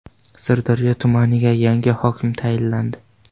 Sirdaryo tumaniga yangi hokim tayinlandi.